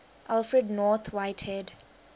alfred north whitehead